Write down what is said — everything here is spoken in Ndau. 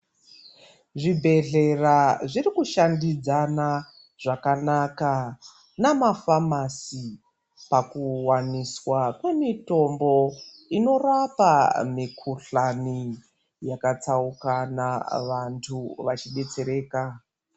Zvibhedhlera zviri kushambidzana zvakanaka namaphamasi pakuwaniswa kwemitombo inorapa mikuhlani yakatsaukana vanthu vechidetsereka.